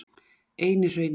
Einihrauni